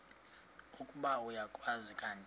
ukuba uyakwazi kanti